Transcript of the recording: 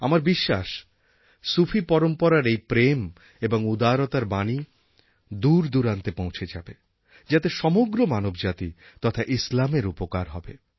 আমার বিশ্বাস সুফি পরম্পরার এই প্রেম এবং উদারতার বাণী দূরদূরান্তে পৌঁছে যাবে যাতে সমগ্র মানবজাতি তথা ইসলামের উপকার হবে